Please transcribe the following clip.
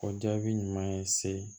O jaabi ɲuman ye se